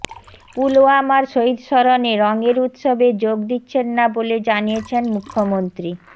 পুলওয়ামার শহিদ স্মরণে রঙের উত্সবে যোগ দিচ্ছেন না বলে জানিয়েছেন মুখ্যমন্ত্রী